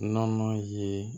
Nɔnɔ ye